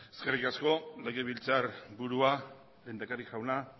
eskerrik asko legebiltzar burua lehendakari jauna